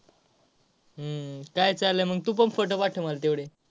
हम्म काय चाललय मग तूपण photo पाठव मला तेवढे.